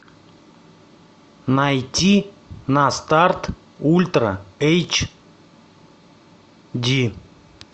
найти на старт ультра эйч ди